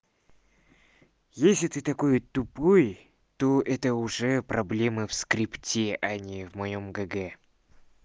если ты такой тупой то это уже проблемы в скрипте а не в моём г г